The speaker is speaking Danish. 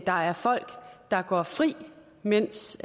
der er folk der går fri mens